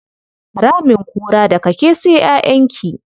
Ramin kura, daga ke sai ƴaƴanki.